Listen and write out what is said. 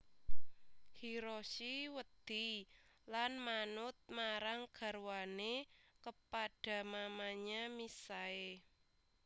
Hiroshi wedi lan manut marang garwane kepada mamanya misae